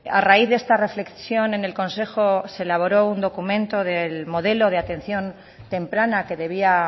a raíz de esta reflexión en el consejo se elaboró un documento del modelo de atención temprana que debía